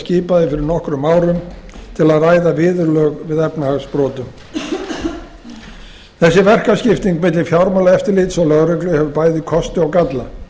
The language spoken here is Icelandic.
skipaði fyrir nokkrum árum til að ræða viðurlög við efnahagsbrotum þessi verkaskipting milli fjármálaeftirlits og lögreglu hefur bæði kosti og galla